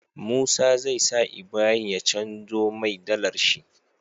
Musa zai sa Ibrahim ya canjo mai dalar shi